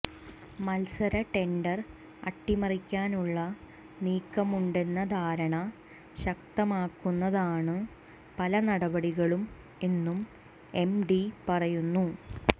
മത്സര ടെൻഡർ അട്ടിമറിക്കാനുള്ള നീക്കമുണ്ടെന്ന ധാരണ ശക്തമാക്കുന്നതാണു പല നടപടികളും എന്നും എംഡി പറയുന്നു